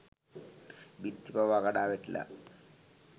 බිත්ති පවා කඩා වැටිලා